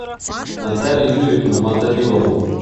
наталью юрьевну мотовилову